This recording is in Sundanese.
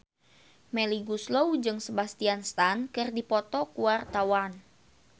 Melly Goeslaw jeung Sebastian Stan keur dipoto ku wartawan